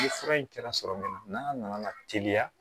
Ni fura in kɛra sɔrɔ min na n'a nana teliya